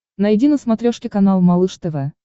найди на смотрешке канал малыш тв